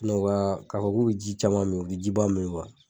k'a fɔ k'u bi ji caman min u jiba min .